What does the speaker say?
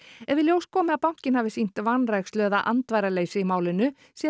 ef í ljós komi að bankinn hafi sýnt vanrækslu eða andvaraleysi í málinu sé